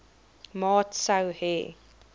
maat sou hê